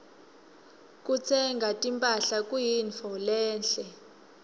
kutsenga timphahla kuyintfo lenhle